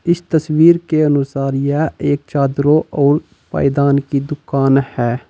उसे तस्वीर के अनुसार यह एक चादरो और पायदान की दुकान है।